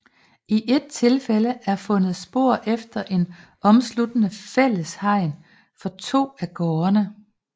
I et tilfælde er fundet spor efter et omsluttende fælles hegn for to af gårdene